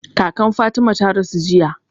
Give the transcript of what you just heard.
Kakan Fatima ta rasu jiya.